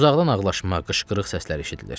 Uzaqdan ağlaşma, qışqırıq səslər eşidilir.